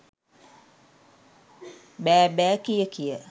බෑබෑකිය කිය